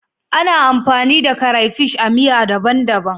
Ana amfani da crapish a miya daban-daban.